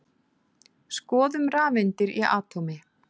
Skoðum rafeindir í atómi.